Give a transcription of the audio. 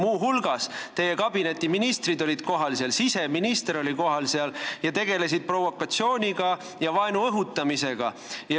Muu hulgas olid seal kohal teie kabineti ministrid, sh siseminister, kes tegelesid provotseerimise ja vaenu õhutamisega.